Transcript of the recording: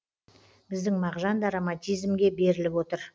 біздің мағжан да романтизмге беріліп отыр